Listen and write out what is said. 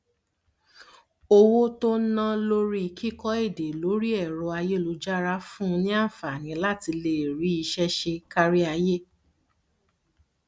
owó tó ná lórí kíkọ èdè lórí ẹrọ ayélujára fún un ní àǹfààní láti lè rí iṣẹ ṣe káríayé